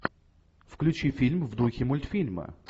включи фильм в духе мультфильма